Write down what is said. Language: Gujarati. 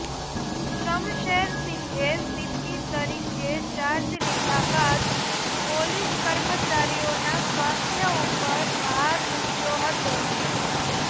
શમશેરસિંઘે સીપી તરીકે ચાર્જ લીધા બાદ પોલીસ કર્મચારીઓના સ્વાસ્થ્ય ઉપર ભાર મુકયો હતો